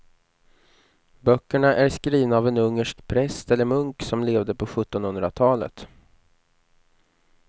Böckerna är skrivna av en ungersk präst eller munk som levde på sjuttonhundratalet.